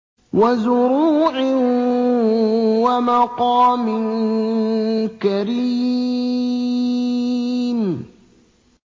وَزُرُوعٍ وَمَقَامٍ كَرِيمٍ